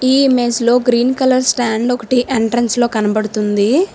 ఈ మెస్ లో green colour stand ఒకటి ఎంట్రన్స్ లో కనబడుతుంది.